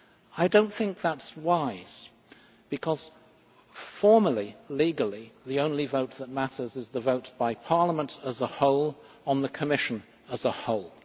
I do not think that is wise because formally, legally, the only vote that matters is the vote by Parliament as a whole on the Commission as a whole.